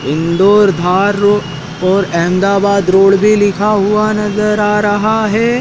Indore road और Ahmedabad road भी लिखा हुआ नजर आ रहा है।